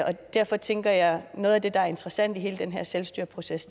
og derfor tænker jeg at noget af det der er interessant i hele den her selvstyreproces